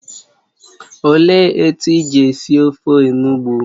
Ọ léé etu iji esi ofe onugbụ?